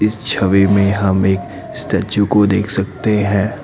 इस छवि में हम एक स्टैचू को देख सकते हैं।